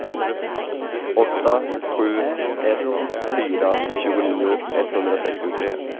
åtta sju ett fyra tjugonio etthundrasextiotre